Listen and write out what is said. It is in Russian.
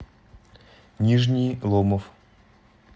нижний ломов